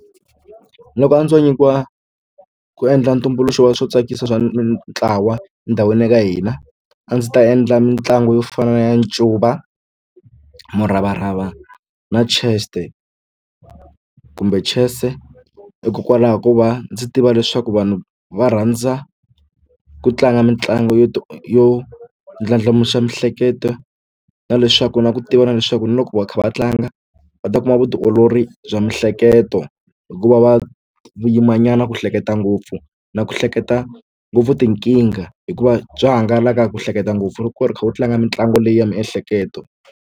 Loko a ndzo nyikiwa ku endla tumbuluxo wa swo tsakisa swa ntlawa endhawini ya ka hina a ndzi ta endla mitlangu yo fana na ya ncuva muravarava na kumbe chess hikokwalaho ko va ndzi tiva leswaku vanhu va rhandza ku tlanga mitlangu yo yo ndlandlamuxa miehleketo na leswaku na ku tiva na leswaku na loko va kha va tlanga ni nga va ta kuma vutiolori bya miehleketo hikuva va yima nyana ku hleketa ngopfu na ku hleketa ngopfu tinkingha hikuva bya hangalaka ku hleketa ngopfu loko u kha u tlanga mitlangu leyi ya miehleketo.